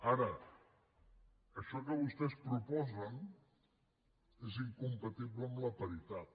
ara això que vostès proposen és incompatible amb la paritat